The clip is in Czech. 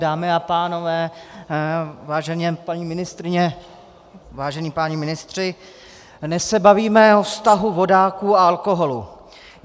Dámy a pánové, vážené paní ministryně, vážení páni ministři, dnes se bavíme o vztahu vodáků a alkoholu.